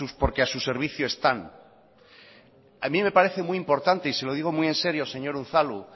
porque a su servicio están a mí me parece muy importante y se lo digo muy en serio señor unzalu